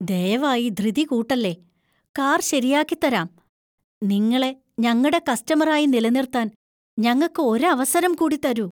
ദയവായി ധൃതി കൂട്ടല്ലേ. കാർ ശരിയാക്കിത്തരാം. നിങ്ങളെ ഞങ്ങടെ കസ്റ്റമര്‍ ആയി നിലനിർത്താന്‍ ഞങ്ങക്ക് ഒരവസരം കൂടിത്തരൂ.